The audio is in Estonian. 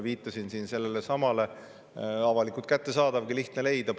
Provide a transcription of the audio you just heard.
Viitasin siin sellelesamale Kalle Kilgi intervjuule Postimehes, mis on avalikult kättesaadav, lihtne leida.